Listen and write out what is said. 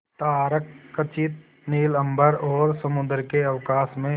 तारकखचित नील अंबर और समुद्र के अवकाश में